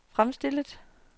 fremstillet